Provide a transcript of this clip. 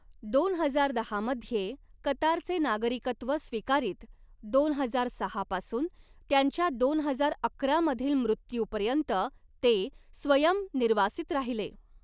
दोन हजार दहा मध्ये कतारचे नागरिकत्व स्वीकारीत, दोन हजार सहा पासून त्यांच्या दोन हजार अकरा मधील मृत्यूपर्यंत ते स्वयं निर्वासित राहिले.